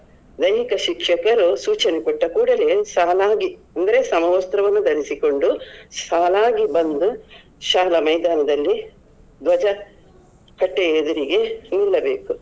ದೈಹಿಕ ಶಿಕ್ಷಕರು ಸೂಚನೆ ಕೊಟ್ಟ ಕೂಡಲೇ ಸಾಲಾಗಿ ಅಂದ್ರೆ ಸಮವಸ್ತ್ರವನ್ನು ಧರಿಸಿಕೊಂಡು ಸಾಲಾಗಿ ಬಂದು ಶಾಲಾ ಮೈದಾನದಲ್ಲಿ ಧ್ವಜ ಕಟ್ಟೆ ಎದಿರಿಗೆ ನಿಲ್ಲಬೇಕು.